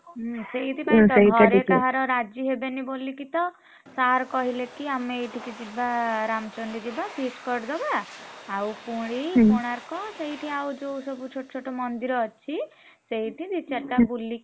ହୁଁ ସେଇଥିପାଇଁ କିତ ସେଇଟା ଗୋଟେ ଘରେ କାହାର ରାଜି ହେବେନି ବୋଲିକି ତ, sir କହିଲେ କି ଆମେ ଏଇଠିକି ଯିବା ରାମଚଣ୍ଡୀ ଯିବା feast କରିଦବା। ଆଉ ପୁରୀ କୋଣାର୍କ ଆଉ ସେଇଠି ଯୋଉ ଛୋଟ ଛୋଟ ମନ୍ଦିର ଅଛି, ସେଇଠି ଦି ଚାରିଟା ବୁଲିକି।